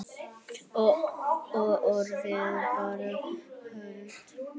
Og orðið varð hold.